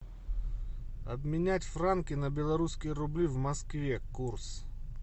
обменять франки на белорусские рубли в москве курс